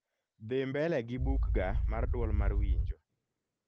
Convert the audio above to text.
dhi mbele gi bukga mar duol mar winjo